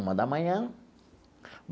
Uma da manhã.